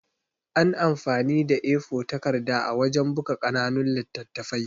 An amfani da A4 takarda wajan buka ƙananun littattafai